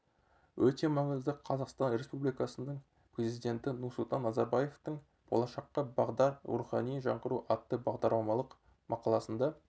өте маңызды қазақстан республикасының президенті нұрсұлтан назарбаевтың болашаққа бағдар рухани жаңғыру атты бағдарламалық мақаласында